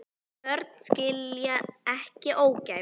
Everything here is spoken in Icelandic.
Börn skilja ekki ógæfu.